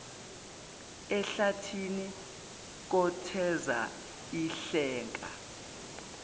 ehlathini kotheza ihleka